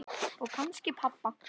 Og kannski pabba.